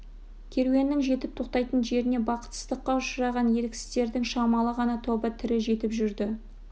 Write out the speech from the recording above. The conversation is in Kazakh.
керуеннің жетіп тоқтайтын жеріне бақытсыздыққа ұшыраған еріксіздердің шамалы ғана тобы тірі жетіп жүрді